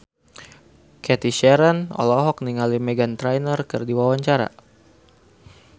Cathy Sharon olohok ningali Meghan Trainor keur diwawancara